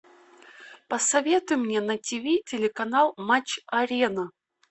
посоветуй мне на ти ви телеканал матч арена